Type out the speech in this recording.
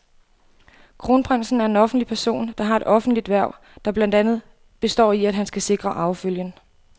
Kronprinsen er en offentlig person, der har et offentligt hverv, der blandt andet består i, at han skal sikre arvefølgen.